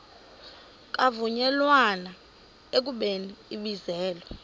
kwavunyelwana ekubeni ibizelwe